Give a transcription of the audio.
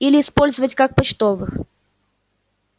или использовать как почтовых